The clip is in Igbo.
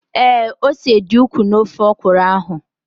Ee, ose dị ukwuu na ofe ọkụrụ ahụ